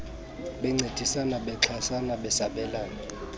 bencedisana bexhasana besabelana